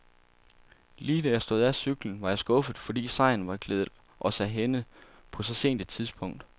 Lige da jeg stod af cyklen, var jeg skuffet, fordi sejren var gledet os af hænde på så sent et tidspunkt.